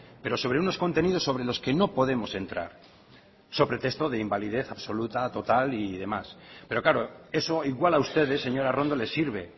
pero sobre unos contenidos sobre los que no podemos entrar so pretexto de invalidez absoluta total y demás pero claro eso igual a ustedes señora arrondo les sirve